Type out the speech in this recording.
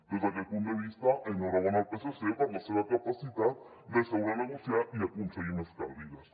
des d’aquest punt de vista enhorabona al psc per la seva capacitat de seure a negociar i aconseguir més cadires